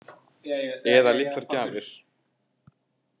Eða litlar gjafir.